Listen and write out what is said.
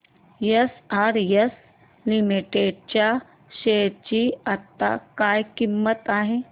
SRS limited च्या share ची आता काय किंमत आहे